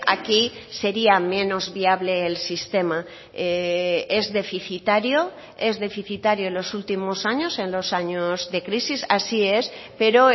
aquí sería menos viable el sistema es deficitario es deficitario en los últimos años en los años de crisis así es pero